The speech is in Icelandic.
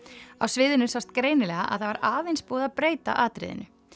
á sviðinu sást greinilega að það var aðeins búið að breyta atriðinu